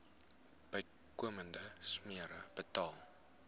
bykomende smere betaal